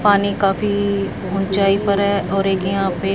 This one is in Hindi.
पानी काफी ऊंचाई पर है और एक यहां पे--